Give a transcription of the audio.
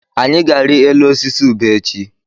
Anyị ga-arịọ elu osisi ube echi.